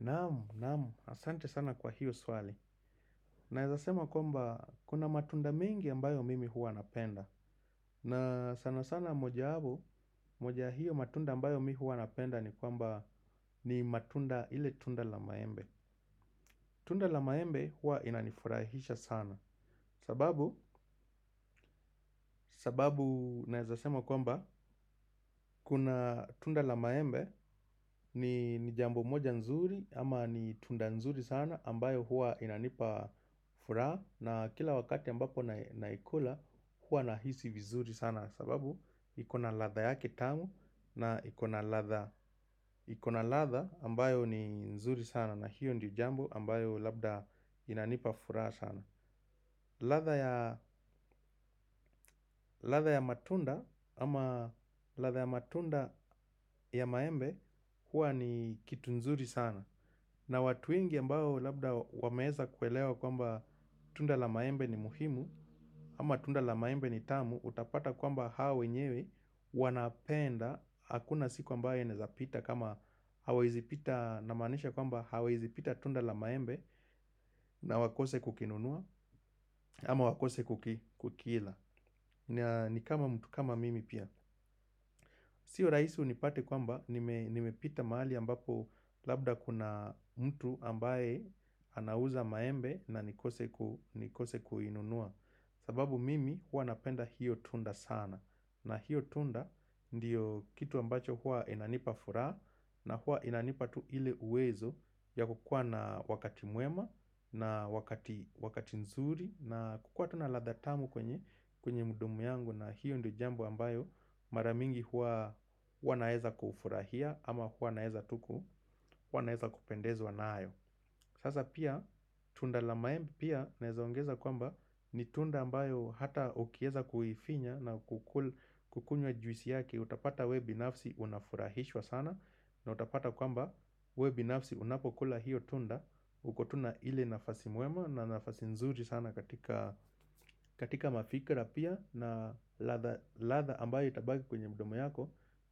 Naam, naam, asante sana kwa hiyo swali. Naweza sema kwamba, kuna matunda mengi ambayo mimi huwa napenda. Na sana sana moja ya hapo, moja hiyo matunda ambayo mimi huwa napenda ni kwamba ni matunda ile tunda la maembe. Tunda la maembe huwa inanifurahisha sana. Sababu, sababu naweza sema kwamba, kuna tunda la maembe ni jambo moja nzuri ama ni tunda nzuri sana ambayo huwa inanipa furaha. Na kila wakati ambapo naikula hua nahisi vizuri sana. Sababu ikona ladha yake tamu na ikona ladha. Ikona ladha ambayo ni nzuri sana na hiyo ni jambo ambayo labda inanipa furaha sana. Ladha ya matunda ama ladha ya matunda ya maembe huwa ni kitu nzuri sana na watu wengi ambao labda wameweza kuelewa kwamba tunda la maembe ni muhimu. Ama tunda la maembe ni tamu utapata kwamba hawa wenyewe wanapenda. Hakuna siku ambaye inaezapita kama hawaezi pita namaanisha kwamba hawawezi pita tunda la maembe. Na wakose kukinunua ama wakose kukila. Ni kama mtu kama mimi pia. Sio rahisi unipate kwamba nimepita mahali ambapo labda kuna mtu ambaye anauza maembe na nikose kuinunua. Sababu mimi huwa napenda hiyo tunda sana. Na hiyo tunda ndiyo kitu ambacho huqa inanipa furaha. Na huwa inanipa tu ile uwezo ya kukuwa na wakati mwema na wakati nzuri. Na kukuwa tu na ladha tamu kwenye kwenye mdomo yangu na hiyo ni jambo ambayo mara mingi huwa naweza kufurahia ama huwa naweza tu ku huwa naweza kupendezwa nayo. Sasa pia tunda la maembe pia naweza ongeza kwamba ni tunda ambayo hata ukiweza kuifinya na kukunywa juisi yake. Utapata wewe binafsi unafurahishwa sana na utapata kwamba wewe binafsi unapokula hiyo tunda uko tu na ile nafasi mwema na nafasi nzuri sana katika mafikra pia na ladha ambayo itabaki kwenye mdomo yako.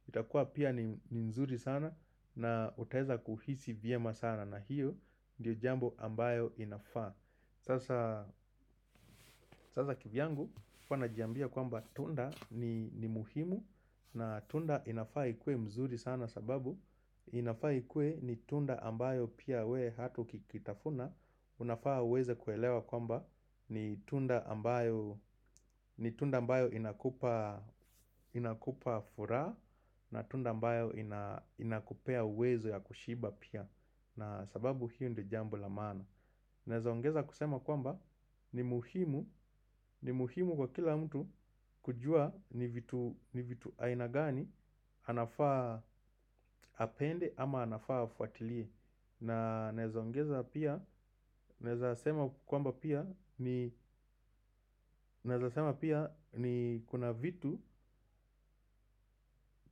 Itakuwa pia ni mzuri sana na utaweza kuhisi vyema sana na hiyo. Ndiyo jambo ambayo inafaa sasa. Sasa kivyangu huwa najiambia kwamba tunda ni muhimu. Na tunda inafaa ikue mzuri sana sababu inafaa ikuwe ni tunda ambayo pia wewe hata ukiitafuna. Unafaa uweze kuelewa kwamba ni tunda ni tunda ambayo inakupa furaha. Na tunda ambayo inakupea uwezo ya kushiba pia. Na sababu hiyo ndio jambo la maana unaeza ongeza kusema kwamba ni muhimu. Ni muhimu kwa kila mtu kujua ni vitu aina gani. Anafaa apende ama anafaa afuatilie. Na naeza ongeza pia. Naweza sema kwamba pia ni pia. Ni kuna vitu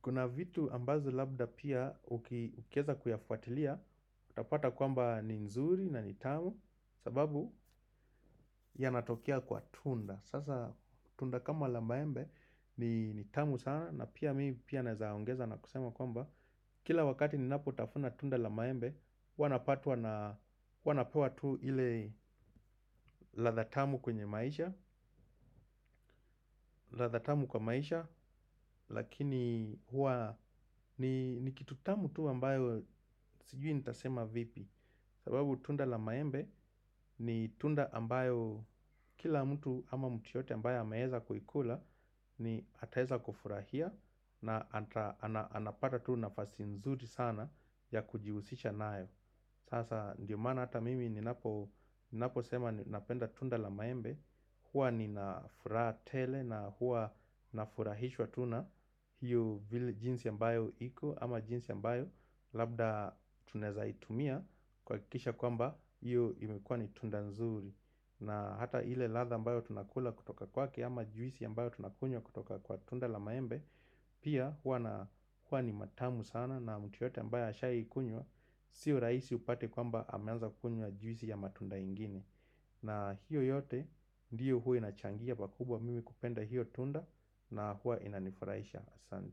kuna vitu ambavyo labda pia ukiweza kuyafuatilia. Utapata kwamba ni nzuri na ni tamu. Sababu ya natokea kwa tunda sasa tunda kama la maembe ni tamu sana. Na pia mimi pia naweza ongeza na kusema kwamba kila wakati ninapotafuna tunda la maembe huwa napatwa na huwa napewa tu ile ladha tamu kwenye maisha. Ladha tamu kwa maisha. Lakini huwa ni kitu tamu tu ambayo sijui nitasema vipi. Sababu tunda la maembe ni tunda ambayo kila mtu ama mtu yote ambayo ameweza kuikula ni ataweza kufurahia na anapata tu nafasi nzuri sana ya kujihusisha nayo. Sasa ndiyo maana hata mimi ninapo ninaposema napenda tunda la maembe. Huwa nina furaha tele na huwa nafurahishwa tu na hiyo jinsi ambayo iko ama jinsi ambayo labda tunaweza itumia. Kuhakikisha kwamba hiyo imekuwa ni tunda nzuri. Na hata ile ladha ambayo tunakula kutoka kwake ama juisi ambayo tunakunywa kutoka kwa tunda la maembe. Pia huwa na huwa ni matamu sana na mtu yote mbayo ashai ikunywa. Sio rahisi upate kwamba ameanza kukunywa juisi ya matunda ingine. Na hiyo yote ndiyo huwa inachangia pakubwa mimi kupenda hiyo tunda. Na huwa inanifurahisha sana.